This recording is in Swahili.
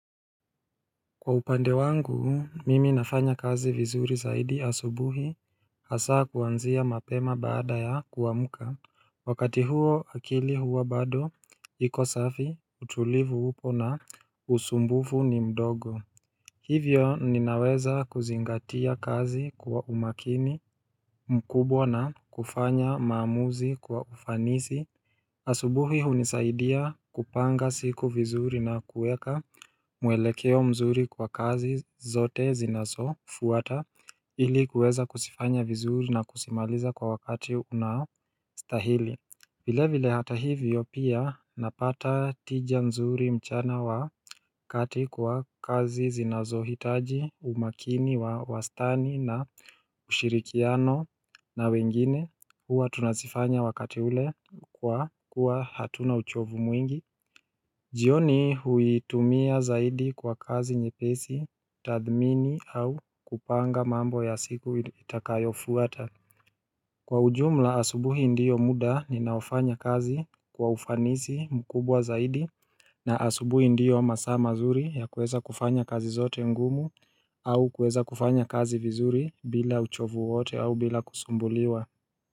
Kwa upande wangu mimi nafanya kazi vizuri zaidi asubuhi Hasaa kuanzia mapema baada ya kuamuka Wakati huo akili huwa bado iko safi utulivu upo na usumbufu ni mdogo Hivyo ninaweza kuzingatia kazi kwa umakini mkubwa na kufanya maamuzi kwa ufanisi asubuhi hunisaidia kupanga siku vizuri na kueka mwelekeo mzuri kwa kazi zote zinazo fuata ili kueza kusifanya vizuri na kusimaliza kwa wakati unaostahili vile vile hata hivyo pia napata tija mzuri mchana wa kati kwa kazi zinazohitaji umakini wa wastani na ushirikiano na wengine Hua tunazifanya wakati ule kwa kuwa hatuna uchovu mwingi jioni hui tumia zaidi kwa kazi nye pesi, tathmini au kupanga mambo ya siku itakayofuata Kwa ujumla asubuhi ndiyo muda ninaofanya kazi kwa ufanisi mkubwa zaidi na asubuhi ndio masaa mazuri ya kueza kufanya kazi zote ngumu au kueza kufanya kazi vizuri bila uchovu wote au bila kusumbuliwa.